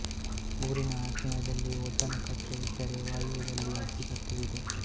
ಊರಿನ ಆಗ್ನೆಯದಲ್ಲಿ ಒಡ್ಡನ ಕಟ್ಟೆ ಇದ್ದರೆ ವಾಯವ್ಯದಲ್ಲಿ ಅಜ್ಜಿಕಟ್ಟೆ ಇದೆ